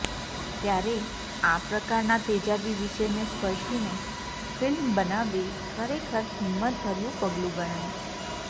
ત્યારે આ પ્રકારના તેજાબી વિષયને સ્પર્શીને ફિલ્મ બનાવવી ખરેખર હિંમતભર્યું પગલું ગણાય